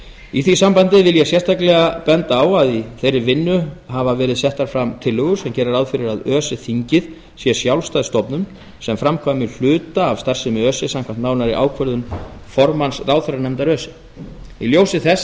í því sambandi vil ég sérstaklega benda á að í þeirri vinnu hafa verið settar fram tillögur sem gera ráð fyrir að öse þingið sé sjálfstæð stofnun sem framkvæmi hluta af starfsemi öse samkvæmt nánari ákvörðun formanns ráðherranefndar öse í ljósi þess